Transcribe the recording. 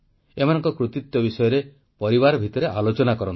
ଏମାନଙ୍କ କୃତିତ୍ୱ ବିଷୟରେ ପରିବାର ଭିତରେ ଆଲୋଚନା କରନ୍ତୁ